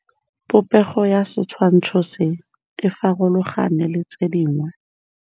Popêgo ya setshwantshô se, e farologane le tse dingwe.